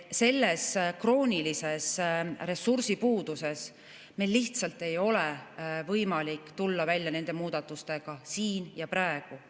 Selles kroonilises ressursipuuduses meil lihtsalt ei ole võimalik tulla välja nende muudatustega siin ja praegu.